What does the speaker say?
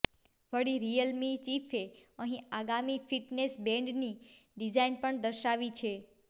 વળી રિયલમી ચીફે અહીં આગામી ફિટનેસ બેન્ડની ડિઝાઇન પણ દર્શાવી છે